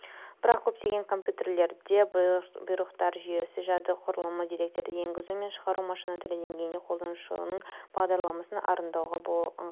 бірақ көптеген компьютерлерде бұйрықтар жүйесі жады құрылымы деректерді енгізу мен шығару машина тілі деңгейінде қолданушының бағдарламасын орындауға ыңғайсыз